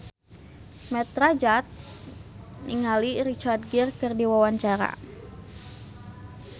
Mat Drajat olohok ningali Richard Gere keur diwawancara